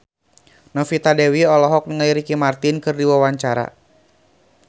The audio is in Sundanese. Novita Dewi olohok ningali Ricky Martin keur diwawancara